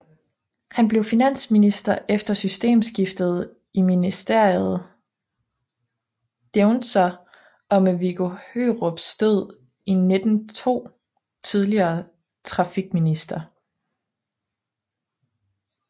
Han blev finansminister efter systemskiftet i Ministeriet Deuntzer og ved Viggo Hørups død i 1902 tillige trafikminister